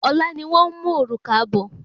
Ọlá ni wón mú òrùka bọ